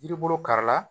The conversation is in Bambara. Yiri bolo kari la